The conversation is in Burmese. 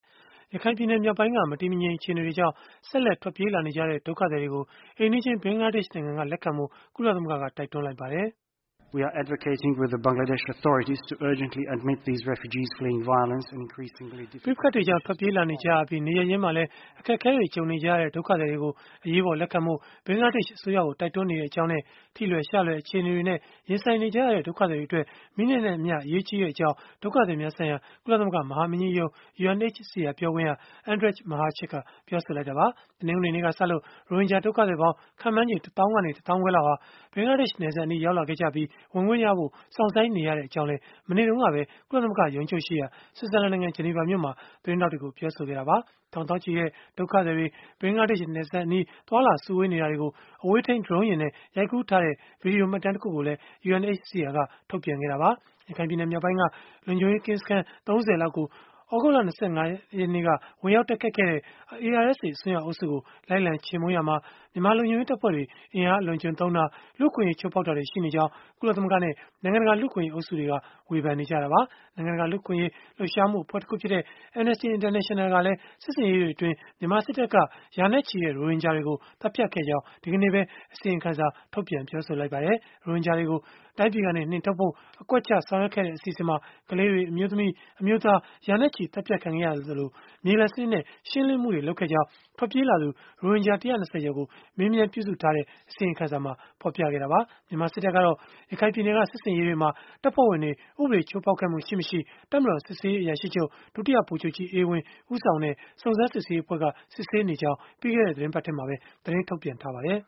ရခိုင်ပြည်နယ် မြောက်ပိုင်းက မတည်မငြိမ် အခြေအနေတွေကြောင့် ဆက်လက် ထွက်ပြေးလာနေကြတဲ့ ဒုက္ခသည်တွေကို အိမ်နီးချင်း ဘင်္ဂလားဒေ့ရှ်နိုင်ငံက လက်ခံဖို့ ကုလသမဂ္ဂက တိုက်တွန်းလိုက်ပါတယ်။ "ပဋိပက္ခတွေကြောင့် ထွက်ပြေးလာနေကြပြီး နေရပ်ရင်းမှာလည်း အခက်အခဲတွေ ကြုံနေကြရတဲ့ ဒုက္ခသည်တွေကို အရေးပေါ် လက်ခံဖို့ ဘင်္ဂလားဒေ့ရှ် အစိုးရကို တိုက်တွန်းနေကြောင်းနဲ့ ထိလွယ်ရှလွယ် အခြေအနေတွေနဲ့ ရင်ဆိုင်နေကြရတဲ့ ဒုက္ခသည်တွေအတွက် မိနစ်နဲ့အမျှ အရေးကြီးကြောင်း" ဒုက္ခသည်များဆိုင်ရာ ကုလသမဂ္ဂ မဟာမင်းကြီးရုံး (UNHCR) ပြောခွင့်ရ Andrej Mahecic က ပြောဆိုလိုက်တာပါ။ တနင်္ဂနွေနေ့ကစလို့ ရိုဟင်ဂျာ ဒုက္ခသည်ပေါင်း ခန့်မှန်းချေ ၁ သောင်းကနေ တသောင်းခွဲလောက်ဟာ ဘင်္ဂလားဒေ့ရှ် နယ်စပ်အနီး ရောက်လာခဲ့ကြပြီး ဝင်ခွင့်ရဖို့ စောင့်ဆိုင်းနေရကြောင်းလည်း မနေ့တုန်းကပဲ ကုလသမဂ္ဂ ရုံးချုပ်ရှိရာ ဆွစ်ဇာလန်နိုင်ငံ ဂျနီဗာမြို့မှာ သတင်းထောက်တွေကို ပြောဆိုခဲ့ပါတယ်။ ထောင်သောင်းချီတဲ့ ဒုက္ခသည်တွေ ဘင်္ဂလားဒေ့ရှ်နယ်စပ်အနီး သွားလာစုဝေးနေတာတွေကို အဝေးထိန်း Drone နဲ့ ရိုက်ကူးထားတဲ့ ဗွီဒီယိုမှတ်တမ်းတခုကိုလည်း UNHCR က ထုတ်ပြန်ခဲ့တာပါ။ ရခိုင်ပြည်နယ် မြောက်ပိုင်းက လုံခြုံရေးကင်းစခန်း ၃၀ လောက်ကို သြဂုတ်လ ၂၅ ရက်နေ့က ဝင်ရောက်တိုက်ခိုက်ခဲ့တဲ့ ARSA အစွန်းရောက် အုပ်စုကို လိုက်လံချေမှုန်းရာမှာ မြန်မာလုံခြုံရေးတပ်ဖွဲ့တွေ အင်အားအလွန်အကျွံသုံးတာ၊ လူ့အခွင့်အရေး ချိုးဖောက်တာတွေ ရှိနေကြောင်း ကုလသမဂ္ဂနဲ့ နိုင်ငံတကာ လူ့အခွင့်အရေး အုပ်စုတွေက ဝေဖန်နေကြတာပါ။ နိုင်ငံတကာ လူ့အခွင့်အရေး လှုပ်ရှားမှုအဖွဲ့တခုဖြစ်တဲ့ Amnesty International ကလည်း စစ်ဆင်ရေးတွေအတွင်း မြန်မာစစ်တပ်က ရာနဲ့ချီတဲ့ ရိုဟင်ဂျာတွေကို သတ်ဖြတ်ခဲ့ကြောင်း ဒီကနေ့ပဲ အစီရင်ခံစာ ထုတ်ပြန်ပြောဆိုလိုက်ပါတယ်။ ရိုဟင်ဂျာတွေကို တိုင်းပြည်ကနေ နှင်ထုတ်ဖို့ အကွက်ချဆောင်ရွက်ခဲ့တဲ့ အစီအစဉ်မှာ ကလေးတွေ၊ အမျိုးသမီး၊ အမျိုးသား ရာနဲ့ချီသတ်ဖြတ်ခံခဲ့ရသလို၊ မြေလှန်စနစ်နဲ့ ရှင်းလင်းမှုတွေ လုပ်ခဲ့ကြောင်း ထွက်ပြေးလာသူ ရိုဟင်ဂျာ ၁၂၀ ကျော်ကို မေးမြန်းပြုစုထားတဲ့ အစီရင်ခံစာမှာ ဖော်ပြခဲ့တာပါ။ မြန်မာစစ်တပ်ကတော့ ရခိုင်ပြည်နယ်က စစ်ဆင်ရေးတွေမှာ တပ်ဖွဲ့ဝင်တွေ ဥပဒေ ချိုးဖောက်ခဲ့မှု ရှိမရှိ တပ်မတော်စစ်ဆေးရေးအရာရှိချုပ် ဒုတိယဗိုလ်ချုပ်ကြီး အေးဝင်း ဦးဆောင်တဲ့ စုံစမ်းစစ်ဆေးရေးအဖွဲ့က စစ်ဆေးနေကြောင်း ပြီးခဲ့တဲ့ သီတင်းပတ်ထဲမှာပဲ သတင်းထုတ်ပြန်ထားပါတယ်